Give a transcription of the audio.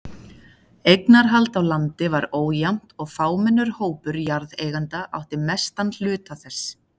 Eignarhald á landi var ójafnt og fámennur hópur jarðeigenda átti mestan hluta þess.